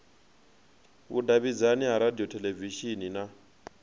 vhudavhidzani ha radio theḽevishini na